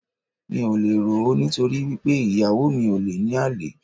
Mi ò le rò ó, nítorí wí pé ìyàwó mi ò le ní àlè.